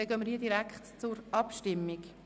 Wir kommen direkt zur Abstimmung.